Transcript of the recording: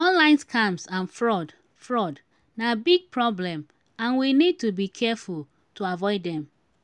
online scams and fraud fraud na big problem and we need to be careful to avoid dem.